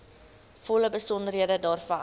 volle besonderhede daarvan